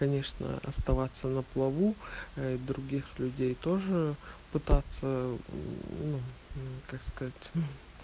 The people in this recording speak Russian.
конечно оставаться на плаву других людей тоже пытаться ну как сказать